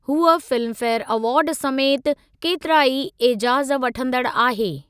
हूअ Filmfare award समेति केतिरा ई एजाज़ वठंदड़ु आहे।